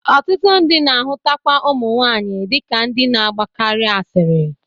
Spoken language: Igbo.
Ọtụtụ ndị na-ahụtakwa ụmụ nwaanyị dị ka ndị na-agbakarị asịrị.